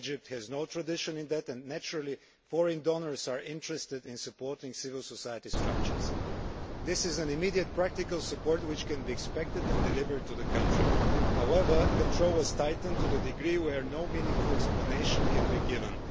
Egypt has no tradition in that and naturally foreign donors are interested in supporting civil society structures. This is a form of immediate practical support that can be expected and delivered to the country. However, control has been tightened to a degree for which no meaningful explanation can be given.